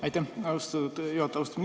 Aitäh, austatud juhataja!